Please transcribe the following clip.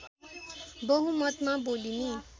बहुमतमा बोलिने